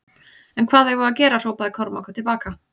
En hvað eigum við að gera hrópaði Kormákur til baka.